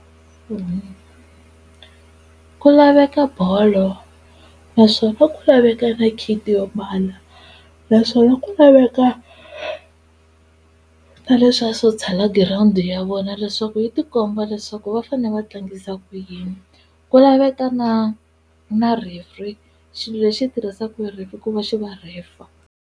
ku laveka bolo naswona ku laveka na kit yo mbala naswona ku laveka ta leswiya swo tshala girawundi ya vona leswaku yi tikomba leswaku va fane va tlangisa ku yini ku laveka na na referee xilo lexi tirhisaku hi referee ku va xi va rhefa.